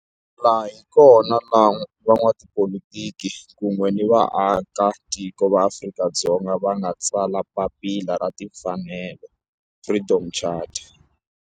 Laha hi kona la van'watipolitiki kun'we ni vaaka tiko va Afrika-Dzonga va nga tsala papila ra timfanelo, Freedom Charter.